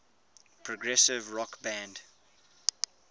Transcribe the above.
progressive rock band